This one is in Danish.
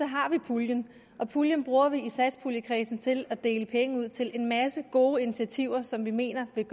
har vi puljen og puljen bruger vi i satspuljekredsen til at dele penge ud til en masse gode initiativer som vi mener vil